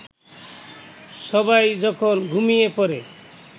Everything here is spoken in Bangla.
সবাই যখন ঘুমিয়ে পড়ে